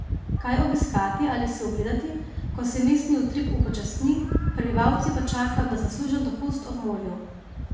Kaj obiskati ali si ogledati, ko se mestni utrip upočasni, prebivalci pa čakajo na zaslužen dopust ob morju?